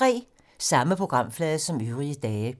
Samme programflade som øvrige dage